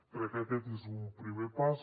crec que aquest és un primer pas